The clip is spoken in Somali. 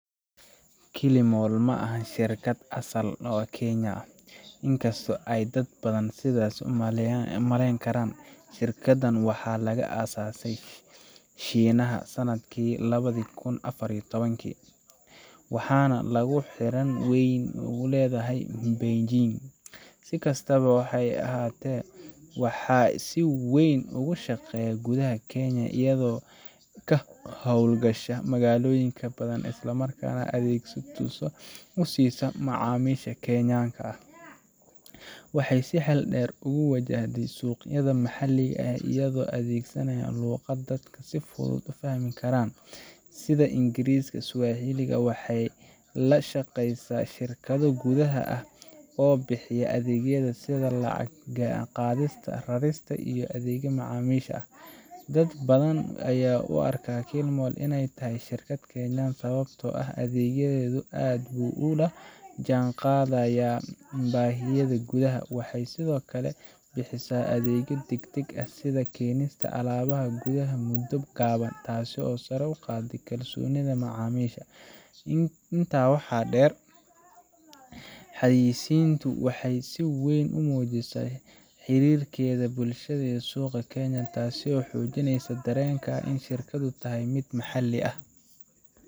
Kilimall ma aha shirkad asal ahaan Kenyan ah, inkasta oo ay dad badan sidaas u maleyn karaan. Shirkaddan waxaa laga aasaasay Shiinaha sanadkii lawada kun afar iyo tobankii, waxaana ay xarun weyn ku leedahay Beijing. Si kastaba, waxay si weyn ugu shaqeysaa gudaha Kenya, iyadoo ka hawlgasha magaalooyin badan isla markaana adeegyo toos ah u siisa macaamiisha Kenyan ah. Waxay si xeel dheer ugu wajahday suuqyada maxalliga ah iyada oo adeegsaneysa luqad dadka si fudud u fahmi karaan, sida Ingiriisi iyo Swahili, waxayna la shaqeysaa shirkado gudaha ah oo bixiya adeegyada sida lacag qaadista, rarista, iyo adeega macaamiisha. Dad badan ayaa u arka Kilimall inay tahay shirkad Kenyan ah sababtoo ah adeeggeedu aad buu u la jaanqaadaa baahiyaha gudaha. Waxay sidoo kale bixisaa adeegyo degdeg ah sida keenista alaabaha gudaha muddo gaaban, taasoo sare u qaaday kalsoonida macaamiisha. Intaa waxaa dheer, xayeysiinteedu waxay si weyn u muujisaa xiriirkeeda bulshada iyo suuqa Kenyan ah, taasoo xoojisay dareenka ah in shirkaddu tahay mid maxalli ah.